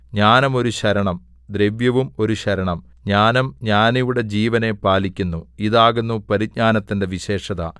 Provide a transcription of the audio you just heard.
ജ്ഞാനം ഒരു ശരണം ദ്രവ്യവും ഒരു ശരണം ജ്ഞാനം ജ്ഞാനിയുടെ ജീവനെ പാലിക്കുന്നു ഇതാകുന്നു പരിജ്ഞാനത്തിന്റെ വിശേഷത